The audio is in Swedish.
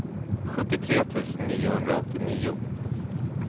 sjuttiotre tusen niohundraåttionio